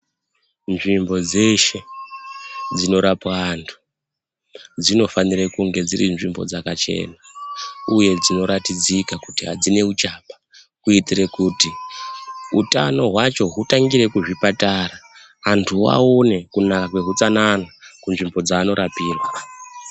Nzvimbo dzeshe dzinorapwa antu dzinofanire kunge dziri nzvimbo dzakachena, uye dzinoratidzika kuti hadzine uchapa kuitire kuti hutano hwacho hutangire kuzvipatara. Antu aone kunaka kwehutsanana kunzvimbo dzaanorapirwa.